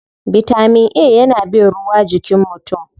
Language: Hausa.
Bitamin A yana bin ruwa jikin mutum.